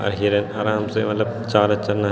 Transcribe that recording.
अर हिरन आराम से मलब चारा चरना।